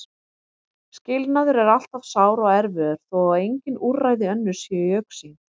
Skilnaður er alltaf sár og erfiður þó að engin úrræði önnur séu í augsýn.